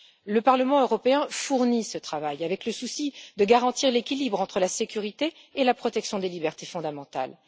Le Parlement européen fournit ce travail avec le souci de garantir l'équilibre entre la sécurité et la protection des libertés fondamentales.